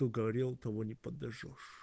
кто горел того не подожжёшь